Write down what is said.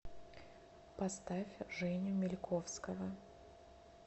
поставь женю мильковского